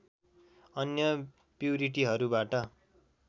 अन्य प्युरिटीहरूबाट